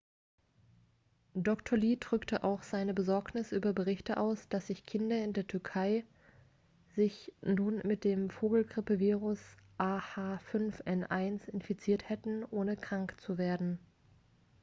dr. lee drückte auch seine besorgnis über berichte aus dass sich kinder in der türkei sich nun mit dem vogelgrippevirus ah5n1 infiziert hätten ohne krank zu werden